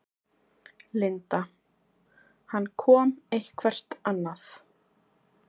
Linda: Hann kom eitthvert annað?